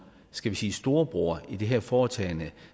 skal vi sige storebroren i det her foretagende